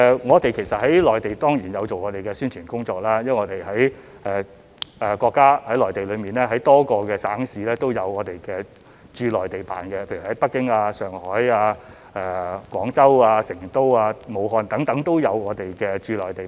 我們在內地當然有做宣傳工作，因為內地多個省市都有我們的駐內地辦，例如北京、上海、廣州、成都、武漢等都有我們的駐內地辦。